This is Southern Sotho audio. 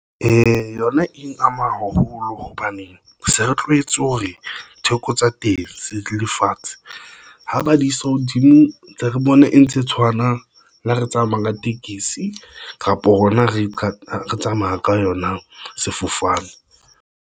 Yona eng ama haholo hobane se re tlohetse hore theko tsa teng se lefatshe ha ba di se hodimo ntse re bone e ntse e tshwana. Le ha re tsamaya ka tekesi kapa hona re tla tsamaya ka yona. Sefofane.